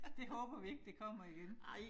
Det håber vi ikke det kommer igen